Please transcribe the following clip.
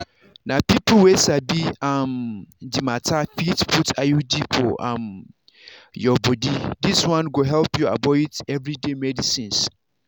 na people wey sabi um the matter fit put iud for um your body this one go help you avoid everyday medicines.